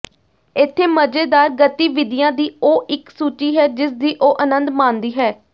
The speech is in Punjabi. ਇੱਥੇ ਮਜ਼ੇਦਾਰ ਗਤੀਵਿਧੀਆਂ ਦੀ ਉਹ ਇੱਕ ਸੂਚੀ ਹੈ ਜਿਸਦੀ ਉਹ ਅਨੰਦ ਮਾਣਦੀ ਹੈ